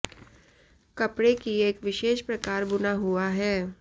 कपड़े की एक विशेष प्रकार बुना हुआ है